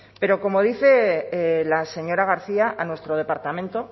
pero como dice la señora garcia a nuestro departamento